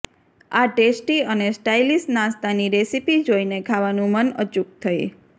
આ ટેસ્ટી અને સ્ટાઇલિશ નાસ્તાની રેસીપી જોઈને ખાવાનું મન અચૂક થઈ